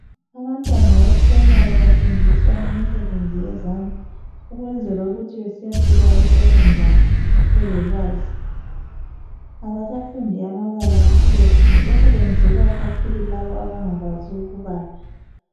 Abantwana bephuremari bafundiswe imisebenzi yezandla ukwenzela ukuthi besiyafika eSekhondari belolwazi. Abasafundi amabala kuphela, lokhu kwenzelwa kakhulu laba abangakwazi ukubala.